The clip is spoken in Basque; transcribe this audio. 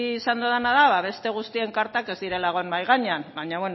izan dodana da beste guztien kartak ez direla egon mahai gainean baina